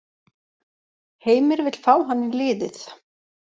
Heimir vill fá hann í liðið.